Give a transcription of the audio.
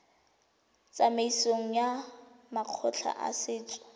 tsamaisong ya makgotla a setso